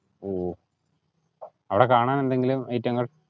ഓഹ്, അവിടെ കാണാൻ എന്തെങ്കിലും item ങ്ങൾ?